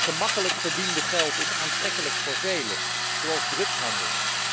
Het gemakkelijk verdiende geld is aantrekkelijk voor velen, net als bij drugshandel.